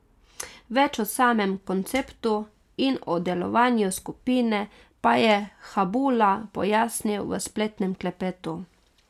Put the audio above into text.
Več o samem konceptu in o delovanju skupine pa je Habula pojasnil v spletnem klepetu.